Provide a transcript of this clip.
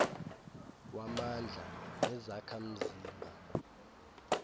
wamandla nezakha mzima